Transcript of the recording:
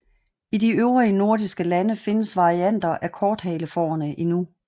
I de øvrige nordiske lande findes varianter af korthalefårene endnu